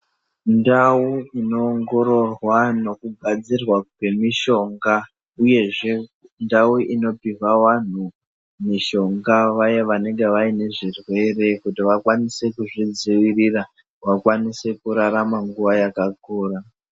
Mundau inoongororwa nekugadzirwa kwemishonga, uyezve ndau inopihwa vanhu mishonga, vaya vanonga vaine zvirwere kuti vakwanise kuzvidzivirira, vakwanise kurarama nguwa yakakura.